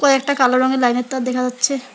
কয়েকটা কালো রঙের লাইনের তার দেখা যাচ্ছে।